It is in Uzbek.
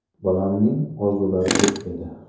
Bolamning orzulari ko‘p edi.